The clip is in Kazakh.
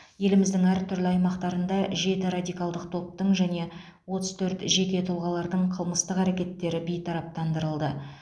еліміздің әр түрлі аймақтарында жеті радикалдық топтың және отыз төрт жеке тұлғалардың қылмыстық әрекеттері бейтараптандырылды